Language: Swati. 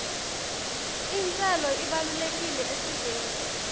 intselo ibalulekile esiveni